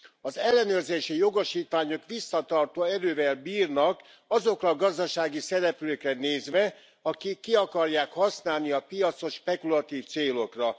Az ellenőrzési jogosítványok visszatartó erővel bírnak azokra a gazdasági szereplőkre nézve, akik ki akarják használni a piacot spekulatív célokra.